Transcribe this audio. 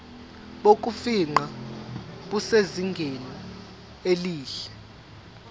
bokufingqa busezingeni elihle